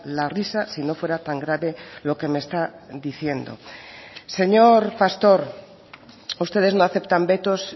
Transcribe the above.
la risa si no fuera tan grave lo que me está diciendo señor pastor ustedes no aceptan vetos